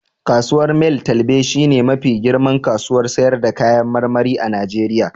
Kasuwar mile twelbe shi ne mafi girman kasuwar sayar da kayan marmari a Najeriya